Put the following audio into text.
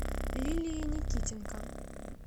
лилией никитенко